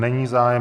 Není zájem.